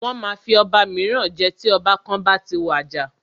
Wọ́n máa fi ọba míràn jẹ tí ọba kan bá ti wàjà.